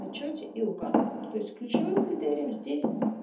в отчёте и указывает то есть ключевым критерием здесь